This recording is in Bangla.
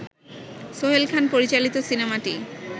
সোহেল খান পরিচালিত সিনেমাটি